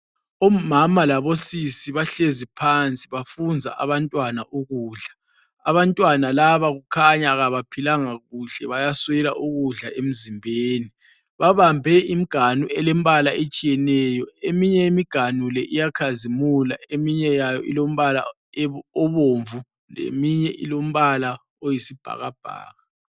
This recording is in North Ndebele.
Omama labosisi bahlezi phansi bafunza abantwana ukudla. Abantwana laba kukhanya abaphilanga kuhle bayaswela ukudla emzimbeni. Babambe imganu elembala etshiyeneyo, eminye imganu iyakhazimula, eminye ibomvu eminye iyisibhakabhaka.